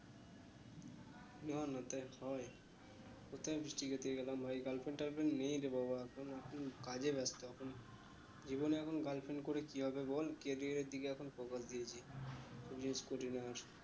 না না তাই হয়ে কোথায় ফিষ্টি খেতে গেলাম ভাই girlfriend টাল friend নেই রে বাবা এখন এখন কাজে ব্যস্ত জীবনে এখন girlfriend করে কি হবে বল career এর দিকে এখন focus দিয়েছি করি না